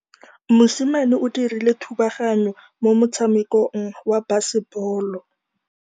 Mosimane o dirile thubaganyô mo motshamekong wa basebôlô.